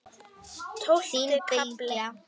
Tólfti kafli